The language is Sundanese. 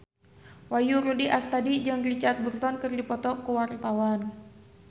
Wahyu Rudi Astadi jeung Richard Burton keur dipoto ku wartawan